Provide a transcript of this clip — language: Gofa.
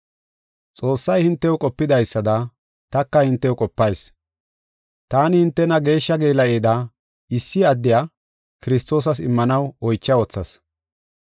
Xoossay hintew qopidaysada, taka hintew qopayis. Taani hintena geeshsha geela7ida issi addiya, Kiristoosas immanaw oycha wothas.